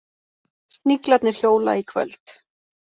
Sniglarnir hjóla í kvöld